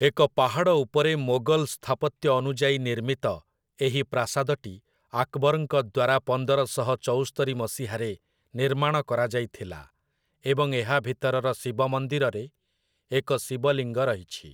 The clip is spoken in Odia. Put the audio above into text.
ଏକ ପାହାଡ଼ ଉପରେ ମୋଗଲ ସ୍ଥାପତ୍ୟ ଅନୁଯାୟୀ ନିର୍ମିତ ଏହି ପ୍ରାସାଦଟି ଆକବର୍‌ଙ୍କ ଦ୍ୱାରା ପନ୍ଦରଶହ ଚଉସ୍ତରି ମସିହାରେ ନିର୍ମାଣ କରାଯାଇଥିଲା ଏବଂ ଏହା ଭିତରର ଶିବ ମନ୍ଦିରରେ ଏକ ଶିବଲିଙ୍ଗ ରହିଛି ।